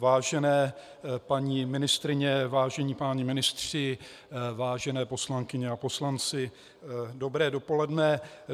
Vážené paní ministryně, vážení páni ministři, vážené poslankyně a poslanci, dobré dopoledne.